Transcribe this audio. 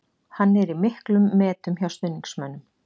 Hann er í miklum metum hjá stuðningsmönnum.